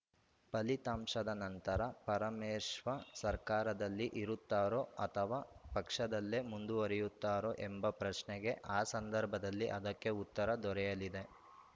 ಫಲಿತಾಂಶದ ನಂತರ ಪರಮೇಶ್ವ ಸರ್ಕಾರದಲ್ಲಿ ಇರುತ್ತಾರೋ ಅಥವಾ ಪಕ್ಷದಲ್ಲೇ ಮುಂದುವರೆಯುತ್ತಾರೋ ಎಂಬ ಪ್ರಶ್ನೆಗೆ ಆ ಸಂದರ್ಭದಲ್ಲಿ ಅದಕ್ಕೆ ಉತ್ತರ ದೊರೆಯಲಿದೆ